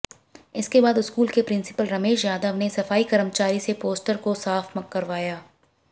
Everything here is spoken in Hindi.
इसके बाद स्कूल के प्रिंसिपल रमेश यादव ने सफाईकर्मचारी से पोस्टर को साफ करवाया